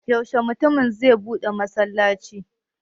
Yaushe mutumin zai buɗe masallacin?